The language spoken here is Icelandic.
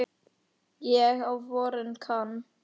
En á vorin kann